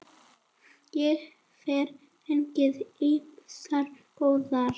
Ég hef fengið ýmsar góðar.